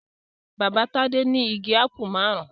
Bàbá Tádé ní igi ápù márùn-ún.